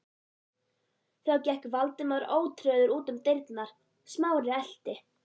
Þá gekk Valdimar ótrauður út um dyrnar, Smári elti.